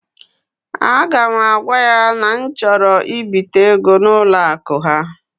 A ga m agwa ya na m chọrọ ibite ego n'ụlọ akụ ha.